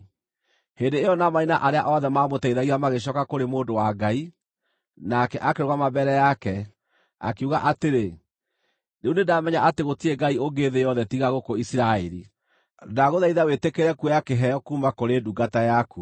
Hĩndĩ ĩyo Naamani na arĩa othe maamũteithagia magĩcooka kũrĩ mũndũ wa Ngai. Nake akĩrũgama mbere yake, akiuga atĩrĩ, “Rĩu nĩndamenya atĩ gũtirĩ Ngai ũngĩ thĩ yothe tiga gũkũ Isiraeli. Ndagũthaitha wĩtĩkĩre kuoya kĩheo kuuma kũrĩ ndungata yaku.”